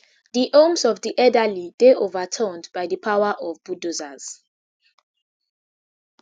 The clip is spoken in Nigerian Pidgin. di homes of di elderly dey overturned by di power of bulldozers